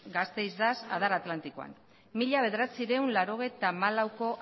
gasteiz dax adar atlantikoan mila bederatziehun eta laurogeita hamalauko